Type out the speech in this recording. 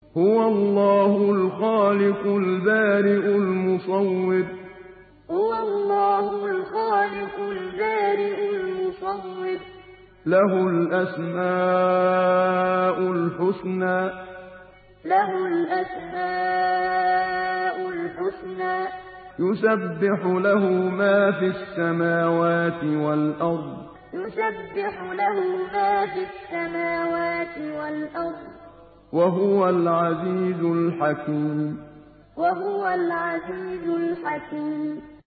هُوَ اللَّهُ الْخَالِقُ الْبَارِئُ الْمُصَوِّرُ ۖ لَهُ الْأَسْمَاءُ الْحُسْنَىٰ ۚ يُسَبِّحُ لَهُ مَا فِي السَّمَاوَاتِ وَالْأَرْضِ ۖ وَهُوَ الْعَزِيزُ الْحَكِيمُ هُوَ اللَّهُ الْخَالِقُ الْبَارِئُ الْمُصَوِّرُ ۖ لَهُ الْأَسْمَاءُ الْحُسْنَىٰ ۚ يُسَبِّحُ لَهُ مَا فِي السَّمَاوَاتِ وَالْأَرْضِ ۖ وَهُوَ الْعَزِيزُ الْحَكِيمُ